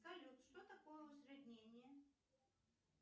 салют что такое усреднение